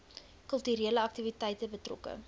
kulturele aktiwiteite betrokke